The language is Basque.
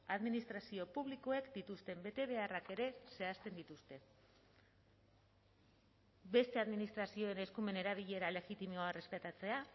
administrazio publikoek dituzten betebeharrak ere zehazten dituzte beste administrazioen eskumen erabilera legitimoa errespetatzea